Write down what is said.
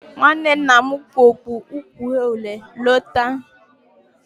Nwanne nna m kpu okpu uhie uhie lọta.